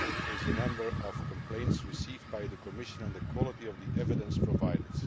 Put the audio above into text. is the number of complaints received by the Commission and the quality of the evidence provided.